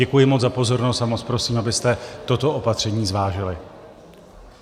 Děkuji moc za pozornost a moc prosím, abyste toto opatření zvážili.